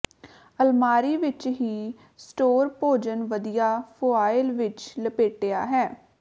ਅਲਮਾਰੀ ਵਿਚ ਹੀ ਸਟੋਰ ਭੋਜਨ ਵਧੀਆ ਫੁਆਇਲ ਵਿੱਚ ਲਪੇਟਿਆ ਹੈ